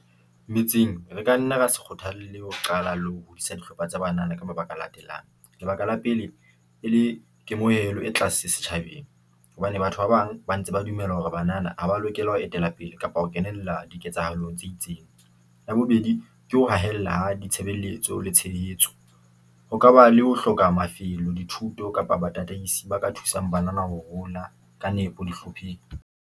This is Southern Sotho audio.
Metseng re ka nna ra se kgothalle ho qala le ho hodisa dihlopha tsa banana ka mabaka a latelang. Lebaka la pele, e le kemoelo e tlase setjhabeng hobane batho ba bang ba ntse ba dumela hore banana ha ba lokela ho etela pele kapa ho kenella diketsahalo tse itseng. Ya bobedi, ke ho hahella ha ditshebeletso le tshehetso, ho kaba le ho hloka mafelo, dithuto kapa batataisi ba ka thusang banana ho hola ka nepo dihlopheng.